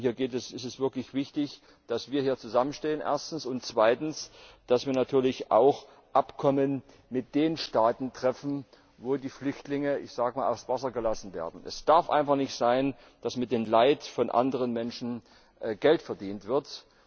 Hier ist es erstens wirklich wichtig, dass wir hier zusammenstehen, und zweitens, dass wir natürlich auch Abkommen mit den Staaten treffen, wo die Flüchtlinge ich sag mal aufs Wasser gelassen werden. Es darf einfach nicht sein, dass mit dem Leid von anderen Menschen Geld verdient wird.